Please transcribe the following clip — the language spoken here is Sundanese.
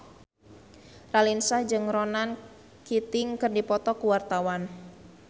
Raline Shah jeung Ronan Keating keur dipoto ku wartawan